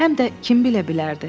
Həm də kim bilə bilərdi?